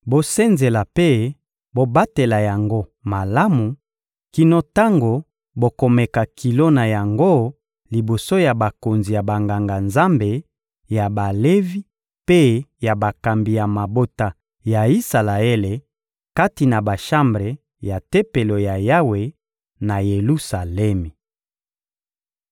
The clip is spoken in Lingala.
Bosenzela mpe bobatela yango malamu kino tango bokomeka kilo na yango liboso ya bakonzi ya Banganga-Nzambe, ya Balevi mpe ya bakambi ya mabota ya Isalaele, kati na bashambre ya Tempelo ya Yawe, na Yelusalemi.»